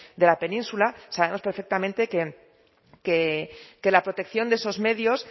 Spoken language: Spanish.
de la península sabemos perfectamente que la protección de esos medios